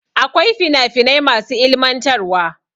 Akwai fina finai masu ilimantarwa.